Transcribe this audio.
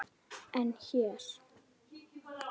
En hér?